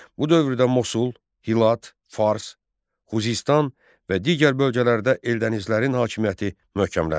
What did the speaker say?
Bu dövrdə Mosul, Hilat, Fars, Xuzistan və digər bölgələrdə Eldənizlərin hakimiyyəti möhkəmləndi.